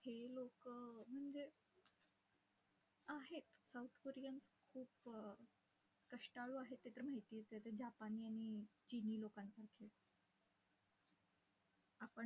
आपण लोकं, म्हणजे आहेत, south koreans खूप कष्टाळू आहेत ते तर माहितीये, ते तर japanese आणि chinese लोकांसारखे.